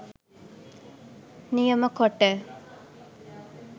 නියම කොට,